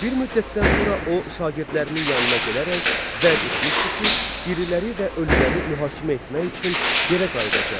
Bir müddətdən sonra o şagirdlərinin yanına gələrək vəd etmişdi ki, diriləri və ölüləri mühakimə etmək üçün yerə qayıdacaq.